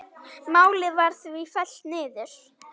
Málið var því fellt niður.